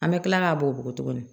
An bɛ kila k'a bɔgɔ bugɔ tuguni